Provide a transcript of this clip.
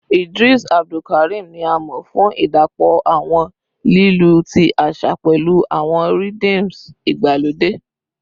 Idris Abdulkarim ni a mọ fun idapọ awọn lilu ti aṣa pẹlu awọn rhyths igbalode